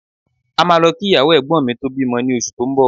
A máa lọ kí ìyàwó Ẹ̀gbọ́n mi tó bímọ ní oṣù tó ń bọ̀